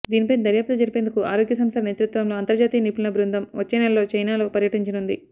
దీనిపై దర్యాప్తు జరిపేందుకు ఆరోగ్య సంస్థ నేతృత్వంలో అంతర్జాతీయ నిపుణుల బృందం వచ్చే నెలలో చైనాలో పర్యటించనుంది